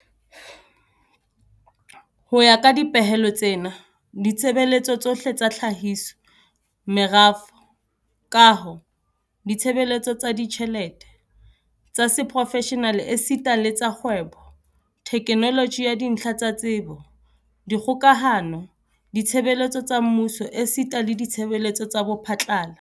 Ho ya ka dipehelo tsena, ditshebeletso tsohle tsa tlhahiso, merafo, kaho, ditshebeletso tsa ditjhelete, tsa seprofeshenale esita le tsa kgwebo, theknoloji ya dintlha tsa tsebo, dikgokahano, ditshebeletso tsa mmuso esita le ditshebeletso tsa bophatlala.